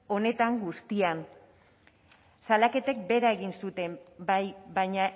honetan guztian salaketek behera egin dute bai baina